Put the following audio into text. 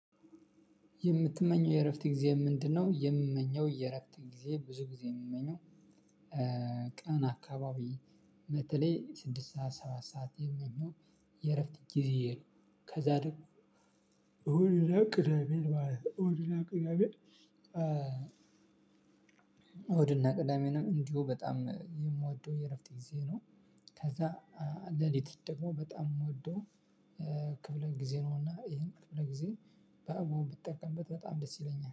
የምትመኘው የእረፍት ጊዜ ምንድነው? የምመኘው የእረፍት ጊዜ ብዙ ጊዜ የምመኘው ቀን አካባቢ በተለይ ስድስት ሰዓት ሰባት ሰዓት የሚሆን የእረፍት ጊዜዬ ነው። ከዛ ደግሞ እሁድና ቅዳሜ እሁድና ቅዳሜ እሁድና ቅዳሜንም እንዲሁ በጣም የምወደው የእረፍት ጊዜ ነው። ከዛ ሌሊት ደግሞ በጣም የምወደው ክፍለ ጊዜ ነውና ይሄን ክፍለ ጊዜ በአግባቡ ብትጠቀምበት በጣም ደስ ይለኛል